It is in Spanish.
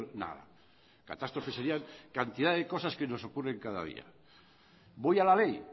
nada catástrofes serían cantidad de cosas que nos ocurren cada día voy a la ley